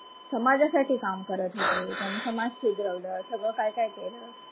समाजासाठी काम करत होते, त्यांनी समाज सुधरवलं, सगळं काय काय केलं.